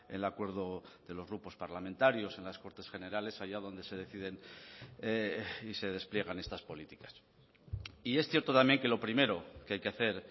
el acuerdo de los grupos parlamentarios en las cortes generales allá donde se deciden y se despliegan estas políticas y es cierto también que lo primero que hay que hacer